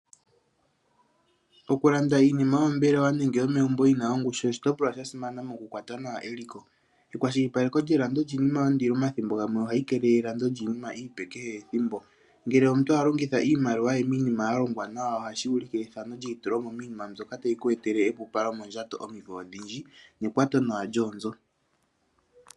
Okulanda iinima yo mombelewa nenge yomegumbo yina ongushu oshitopolwa sha simana mo kukwata nawa eliko. ekwashilipaleko lyelando lyiinima yondilo omathimbogamwe ohayi keelele elando lyiinima iipe kehe ethimbo . Ngele omuntu a longitha iimaliwa ye miinima ya longwa nawa ohashi ulike ethano lye yitulomo miinima mbyoka tayi ku etele epupalo mondjato omimvo odhindji nekwatonawa lyoonzo.